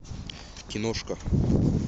киношка